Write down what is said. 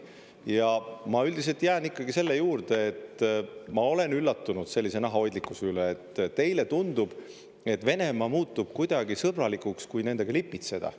Ja ma üldiselt jään ikkagi selle juurde, et ma olen üllatunud sellise nahahoidlikkuse üle, et teile tundub, et Venemaa muutub kuidagi sõbralikuks, kui nendega lipitseda.